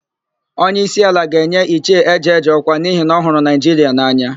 Onyeísí ala ga-enye Ichie Ejeje ọkwa n'ihi na ọ hụrụ Naịjiria n'anya.